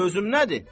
Sözüm nədir?